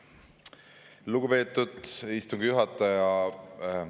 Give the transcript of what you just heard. Lugupeetud istungi juhataja!